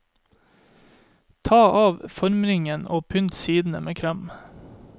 Ta av formringen og pynt sidene med krem.